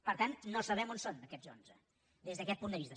per tant no sabem on són aquests onze des d’aquest punt de vista